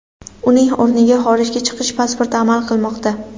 Uning o‘rniga xorijga chiqish pasporti amal qilmoqda.